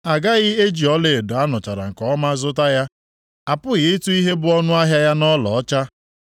A gaghị eji ọlaedo a nụchara nke ọma zụta ya, apụghị ịtụ ihe bụ ọnụahịa ya nʼọlaọcha.